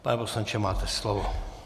Pane poslanče, máte slovo.